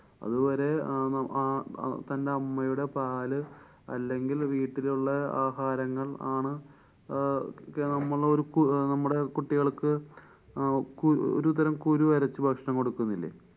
അതുവരെ അഹ് ആ തന്‍ടെ അമ്മയുടെ പാല് അല്ലെങ്കില്‍ വീട്ടിലുള്ള ആഹാരങ്ങള്‍ ആണ് അഹ് നമ്മളൊരു കു~നമ്മടെ കുട്ടികള്‍ക്ക് അഹ് കു~ ഒരുതരം കുരു അരച്ചു ഭക്ഷണം കൊടുക്കുന്നില്ലേ.